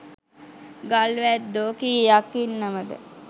ගල් වැද්දෝ කීයක් ඉන්නවද?